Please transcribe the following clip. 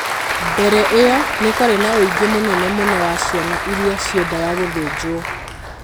Mbere ĩyo, nĩ kwarĩ na ũingĩ mũnene mũno wa ciana iria ciendaga gũthĩnjwo.